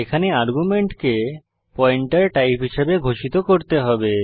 এখানে আর্গুমেন্টকে pointer type হিসাবে ঘোষিত করতে হবে